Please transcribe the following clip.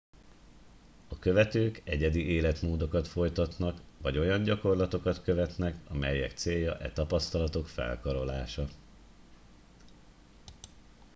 a követők egyedi életmódokat folytatnak vagy olyan gyakorlatokat követnek amelyek célja e tapasztalatok felkarolása